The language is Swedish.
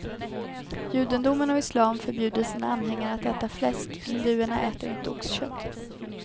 Judendomen och islam förbjuder sina anhängare att äta fläsk; hinduerna äter inte oxkött.